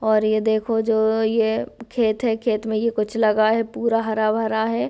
और यह देखो जो ये खेत है खेत में कुछ लगा रखा है पूरा हरा-भरा है।